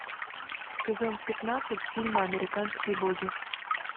сезон пятнадцать фильма американские боги